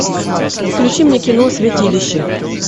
включи мне кино святилище